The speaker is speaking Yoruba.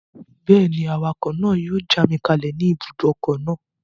Bẹ́ẹ̀ni, awakọ̀ náà yóò já mi kalẹ̀ ní ibùdókọ̀ náà